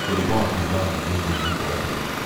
Mũrimũ wa kũimba ngingo ũngĩrigitwo atĩa?